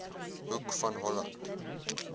hoek van holland